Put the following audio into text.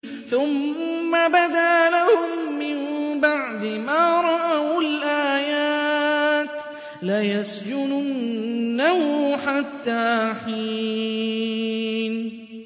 ثُمَّ بَدَا لَهُم مِّن بَعْدِ مَا رَأَوُا الْآيَاتِ لَيَسْجُنُنَّهُ حَتَّىٰ حِينٍ